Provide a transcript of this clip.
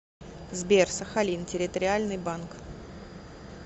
сбер сахалин территориальный банк